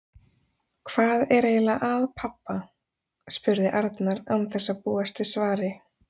Hvað er eiginlega að pabba? spurði Arnar án þess að búast við svari.